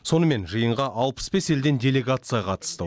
сонымен жиынға алпыс бес елден делегация қатысты